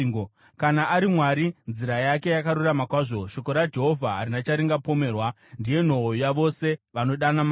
“Kana ari Mwari, nzira yake yakarurama kwazvo; shoko raJehovha harina charingapomerwa. Ndiye nhoo yavose vanovanda maari.